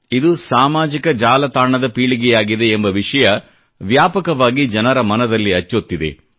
ಇದು ಸಾಮಾಜಿಕ ಜಾಲತಾಣದ ಪೀಳಿಗೆಯಾಗಿದೆ ಎಂಬ ವಿಷಯ ವ್ಯಾಪಕವಾಗಿ ಜನರ ಮನದಲ್ಲಿ ಅಚ್ಚೊತ್ತಿದೆ